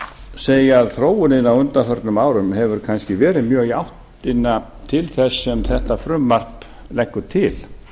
segja að þróunin á undanförnum árum hefur kannski verið mjög í áttina til þess sem þetta frumvarp leggur til